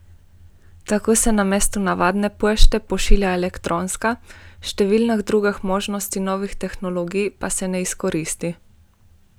Tako se namesto navadne pošte pošilja elektronska, številnih drugih možnosti novih tehnologij pa se ne izkoristi.